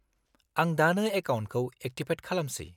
-आं दानो एकाउन्टखौ एक्टिभेट खालामसै।